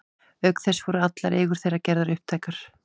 Auk þess voru allar eigur þeirra gerðar upptækar.